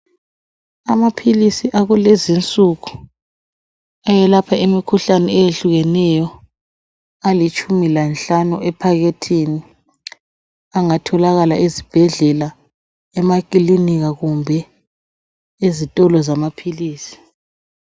Amaphilisi akulezinsuku ayelapha imikhuhlane etshiyeneyo alitshumi lanhlanu ephaketheni angatholakala ezibhedlela, emakilinika kumbe ezitolo zamaphilisi.